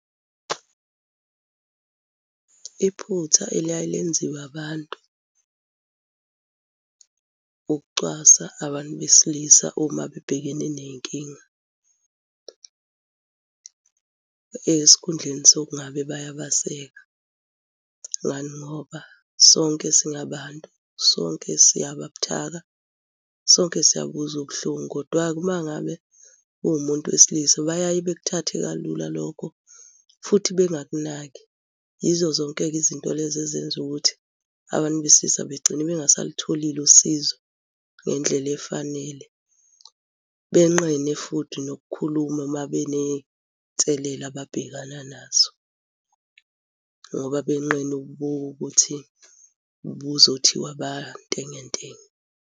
Iphutha eliyaye lenziwe abantu, ukucwasa abantu besilisa uma bebhekene ney'nkinga esikhundleni sokungabe bayabaseka. Ngani ngoba, sonke singabantu, sonke siyaba buthaka, sonke siyabuzwa ubuhlungu kodwa-ke uma ngabe kuwumuntu wesilisa, bayaye bakuthathe kalula lokho, futhi bengakunaki. Yizo zonke-ke izinto lezi ezenza ukuthi abantu besilisa begcine bengasalitholi usizo ngendlela efanele. Benqene futhi nokukhuluma uma beney'nselele ababhekana nazo ngoba benqena ukuthi kuzothiwa bantengentenge.